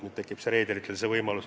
Nüüd tekib reederitel see võimalus.